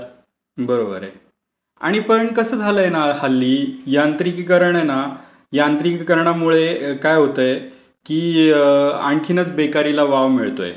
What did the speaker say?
बरोबर आहे. आणि पण कसं आहे ना हल्ली यांत्रिकीकरण आहे ना, यांत्रिकीकरणामुळे काय होतय की आणखीनच बेकारीला वाव मिळतोय.